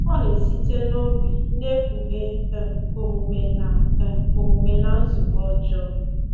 Ọ na-esite n’obi, na-ekpughe um omume na um omume na nzube ọjọọ.